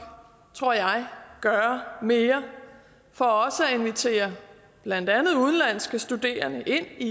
tror jeg gøre mere for også at invitere blandt andet udenlandske studerende ind i